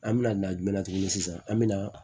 An bɛna na jumɛn na tuguni sisan an bɛna